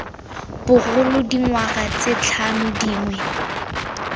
bogolo dingwaga tse tlhano dingwe